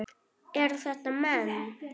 Eru þetta menn?